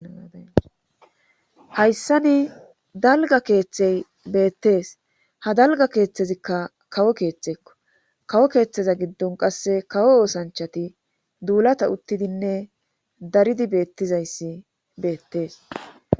Haayssani dalga keeththey beettees ha dalga keeththezikka kawo keeththeekko kawo keeththeza giddon qasse kawo oosanchati duulata uttidinne daridi beettizayssi beettees.